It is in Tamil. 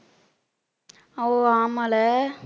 ஆமால